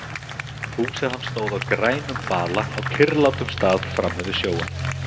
Hús hans stóð á grænum bala á kyrrlátum stað frammi við sjóinn.